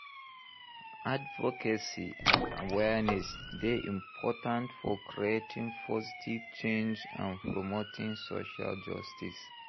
Advocacy and awareness dey important for creating positive change and promoting social justice.